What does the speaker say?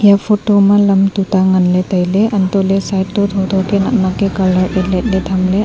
eya photo ma lam tuta nganla tailey antohley side to thotho ka naknak ka colour ye ketla tailey.